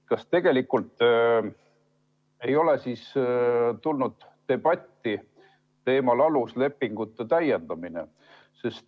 Kas ei ole olnud debatti aluslepingute täiendamise teemal?